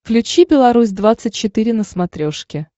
включи беларусь двадцать четыре на смотрешке